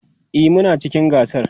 e Muna cikin gasar